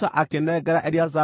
nacio ngʼombe ciarĩ 36,000,